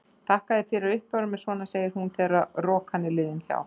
Þakka þér fyrir að uppörva mig svona, segir hún þegar rokan er liðin hjá.